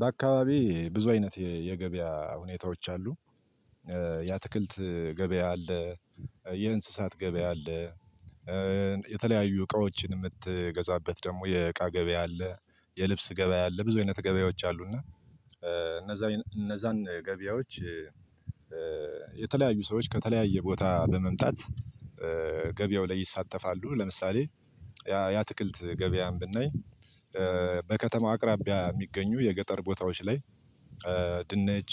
በአካባቢ ብዙ አይነት የገበያ ሁኔታዎች አሉ። የአትክልት ገበያ አለ። የእንስሳት ገበያ አለ። የተለያዩ እቃዎችን የምትገዛበት ደግሞ የእቃ ገበያ አለ። የልብስ ገበያ አለ ብዙ አይነት ገበያዎች አሉ። እና እነዛን ገበያዎች የተለያዩ ሰዎች ከተለያየ ቦታ በመምጣት ገበያው ላይ ይሳተፋሉ። ለምሳሌ ያ ትክልት ገበያን ብናይ በከተማው አቅራቢያ የሚገኙ የገጠር ቦታዎች ላይ ድንች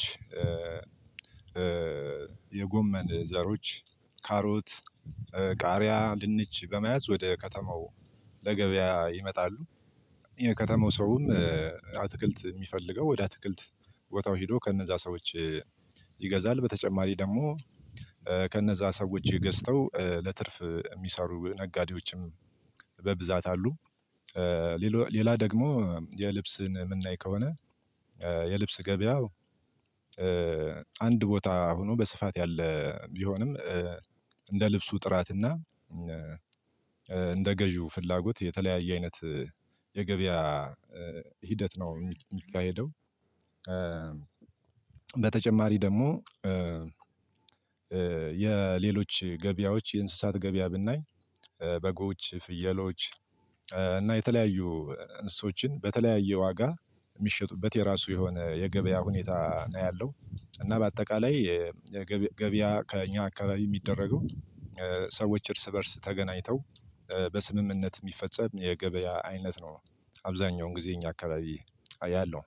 የጎመን ዘሮች ካሮት ቃሪያ ድንች በመያዝ ወደ ከተማው ለገበያ ይመጣሉ። የከተማው ሰውም አትክልት የሚፈልገው ወደ አትክልት ቦታው ሄዶ ከነዛ ሰዎች ይገዛል። በተጨማሪ ደግሞ ከነዛ ሰዎች ገዝተው ለትርፍ የሚሰሩ ነጋዴዎችም በብዛት አሉ። ሌላ ደግሞ የልብስን የምናይ ከሆነ የልብስ ገበያው አንድ ቦታ ሆኖ በስፋት ያለ ቢሆንም እንደ ልብሱ ጥራትና እንደ ገዢው ፍላጎት የተለያየ አይነት የገበያ ሂደት ነው የሚካሄደው። በተጨማሪ ደግሞ የሌሎች ገበያዎች የእንስሳት ገበያ ብናይ በጎች የፍየሎች እና የተለያዩ እንስሶችን በተለያየ ዋጋ የሚሸጡበት የራሱ የሆነ የገበያ ሁኔታ ነው ያለው። እና በአጠቃላይ ገበያ ከእኛ አካባቢ የሚደረገው ሰዎች እርስ በእርስ ተገናኝተው በስምምነት የሚፈጸም የገበያ አይነት ነው። አብዛኛውን ጊዜ ይኛ አካባቢ አያለሁ።